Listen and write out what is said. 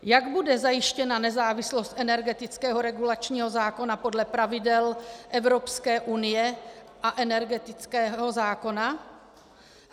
Jak bude zajištěna nezávislost energetického regulačního zákona podle pravidel Evropské unie a energetického zákona?